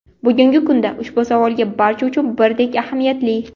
Bugungi kunda ushbu savol barcha uchun birdek ahamiyatli.